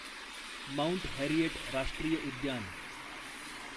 mount Harriet राष्ट्रीय उद्यान